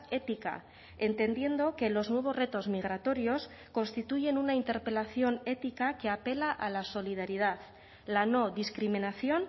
ética entendiendo que los nuevos retos migratorios constituyen una interpelación ética que apela a la solidaridad la no discriminación